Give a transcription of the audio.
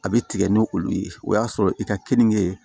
A bɛ tigɛ ni olu ye o y'a sɔrɔ i ka keninge